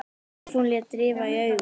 Stefán lét rifa í augun.